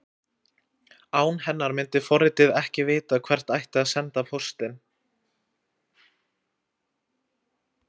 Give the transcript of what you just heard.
Án hennar myndi forritið ekki vita hvert ætti að senda póstinn.